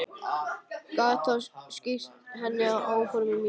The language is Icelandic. Gat þá skýrt henni frá áformum mínum.